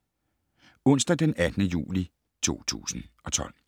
Onsdag d. 18. juli 2012